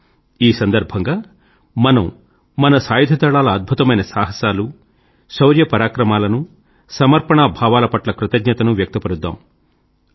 రండి ఈ సందర్భంగా మనం మన సాయుధదళాల అద్భుతమైన సాహసాలు శౌర్య పరాక్రమాలను సమర్పణాభావాల పట్ల కృతజ్ఞతను వ్యక్తపరుద్దాం